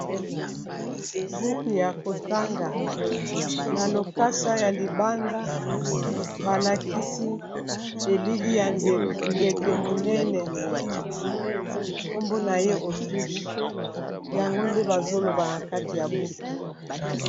Buku ya kotanga na lokasa ya libanda balakisi elili ya ndeke monene nkombo na ye Autriche yango nde bazoloba na kati ya buku.